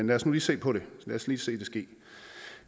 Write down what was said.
lad os nu lige se på det lad os lige se det ske